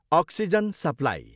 Oxygen supply.